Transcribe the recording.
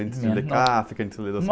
Antes de ler Kafka, antes de ler